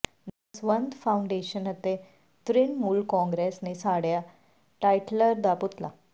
ਦਸਵੰਧ ਫਾਊਾਡੇਸ਼ਨ ਅਤੇ ਤਿ੍ਣਮੂਲ ਕਾਂਗਰਸ ਨੇ ਸਾੜਿਆ ਟਾਈਟਲਰ ਦਾ ਪੁਤਲਾ